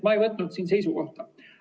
Ma ei võtnud seisukohta.